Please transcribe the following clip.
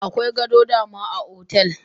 Akwai gado da dama a otel.